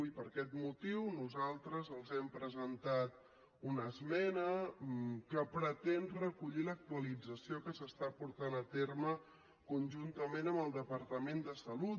i per aquest motiu nosaltres els hem presentat una esmena que pretén recollir l’actualització que s’està portant a terme conjuntament amb el departament de salut